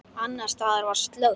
Annars staðar var slökkt.